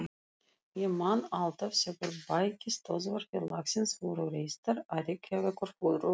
Ég man alltaf þegar bækistöðvar félagsins voru reistar á Reykjavíkurflugvelli.